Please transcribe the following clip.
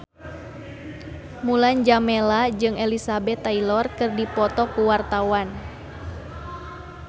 Mulan Jameela jeung Elizabeth Taylor keur dipoto ku wartawan